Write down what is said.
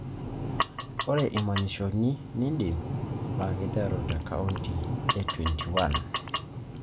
ore imanyishoni nidip; naa keiteru te century e 21